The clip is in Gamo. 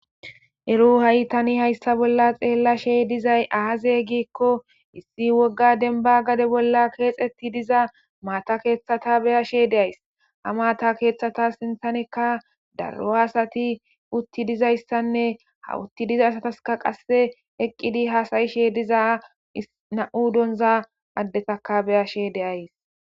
Ero ha'tani hayssa bolla xeellashey dizay aaze giikko issi wogga denba gade bolla keexetti diza maata kethata beyashe deays ha maata keeththata sinthanikka darro hasati utti dizayssanne hawutti diza asataska qasse eqqidi haasayishe diza na'mu donza addetaka beyashe deays